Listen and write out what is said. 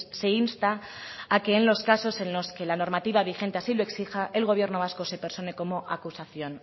se insta a que en los casos en los que la normativa vigente así lo exija el gobierno vasco se persone como acusación